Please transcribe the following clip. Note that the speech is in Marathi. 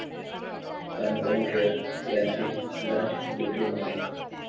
अनुपम खेर यांची 'लंच' डिप्लोमसी